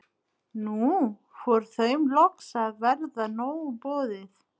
Nú fór þeim loks að verða nóg boðið.